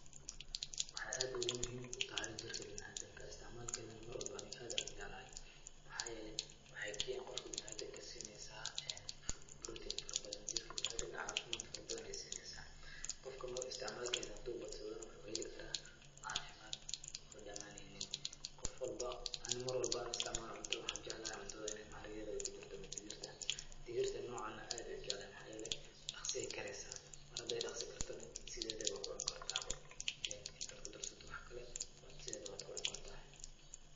Waxay aad muhiim ugu tahay jirka bina'aadinka. Istacmaal keedana ani marwalbo aad ayaan u jeclahay. Maxaa yeelay waxay qofka bina'aadinka siinaysaa protein farabadan. Jirka bina'aadinka caafimaad farabadan ayaay siineysa. Qofka mar istacmaalkeeda haduu badsadana waxuu heli karaa caafimad oo dhamaaneynin. Qof walbo, ani mar walbo aan istacmaalo cunto waxaan jeclahay cuntada in ay mahaaragweda ay ku jirto ama dhigirta. Digirta noocan ah aad ayaa ujeclahay. Maxaa yeelay dhakhsi ayaay karaysa. Mar haday dhakhsi kartana, sidedaba waa ku cuni kartaaba inta aad ku darsato waxkale waad sideda waad ku cuni karta.